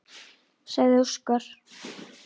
sagði Óskar.